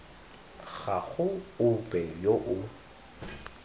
ga go ope yo o